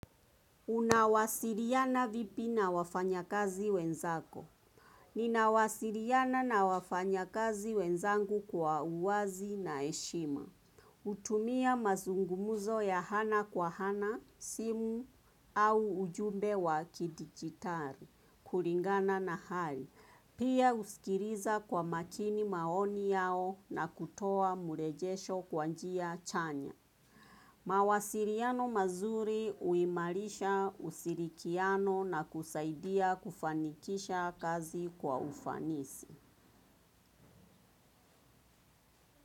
Unawasiliana vipi na wafanya kazi wenzako? Ninawasiliana na wafanya kazi wenzangu kwa uwazi na heshima. Hutumia mazungumuzo ya ana kwa ana, simu au ujumbe wa kidigitali, kulingana na hali. Pia husikiliza kwa makini maoni yao na kutoa mrejesho kwa njia chanya. Mawasiliano mazuri huimarisha ushirikiano na kusaidia kufanikisha kazi kwa ufanisi.